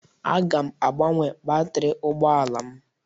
Aga m agbanwe batrị ụgbọala m.